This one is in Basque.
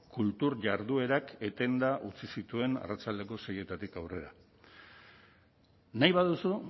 kultur jarduerak etenda utzi zituen arratsaldeko seietatik aurrera nahi baduzu